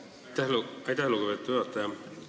Aitäh, lugupeetud juhataja!